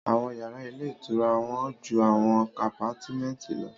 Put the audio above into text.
Àwọn yàrá ilé ìtura wọ́n ju àwọn àpátímẹ̀ntì lọ